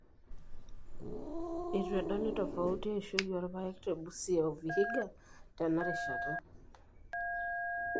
Eitu edoli tofauti eishoi oorpaek te Busia o Vihiga tena rishata.